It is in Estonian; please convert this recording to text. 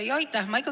Aitäh!